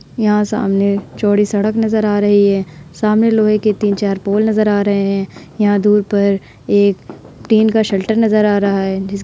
यहाँ सामने चौड़ी सड़क नजर आ रही है। सामने लोहे के तीन-चार पोल नजर आ रहे हैं। यहां दूर पर एक टीन का शेल्टर नजर आ रहा है। जिस --